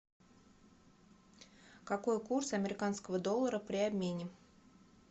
какой курс американского доллара при обмене